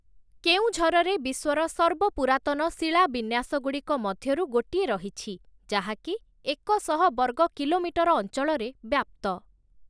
କେଉଁଝରରେ ବିଶ୍ୱର ସର୍ବପୁରାତନ ଶିଳା ବିନ୍ୟାସଗୁଡ଼ିକ ମଧ୍ୟରୁ ଗୋଟିଏ ରହିଛି, ଯାହାକି ଏକ ଶହ ବର୍ଗକିଲୋମିଟର ଅଞ୍ଚଳରେ ବ୍ୟାପ୍ତ ।